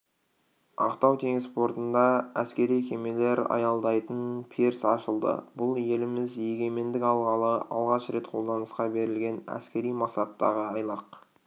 ақтау теңіз портында әскери кемелер аялдайтын пирс ашылды бұл еліміз егемендік алғалы алғаш рет қолданысқа берілген әскери мақсаттағы айлақ